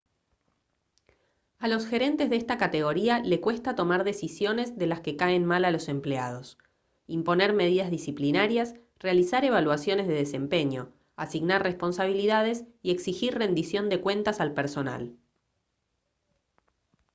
a los gerentes de esta categoría le cuesta tomar decisiones de las que caen mal a los empleados imponer medidas disciplinarias realizar evaluaciones de desempeño asignar responsabilidades y exigir rendición de cuentas al personal